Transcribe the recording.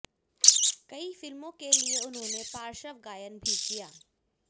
कई फिल्मों के लिए उन्होंने पार्श्व गायन भी किया